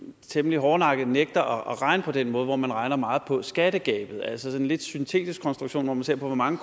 temmelig hårdnakket nægter at regne på den måde hvor man regner meget på skattegabet altså sådan en lidt syntetisk konstruktion hvor man ser på hvor mange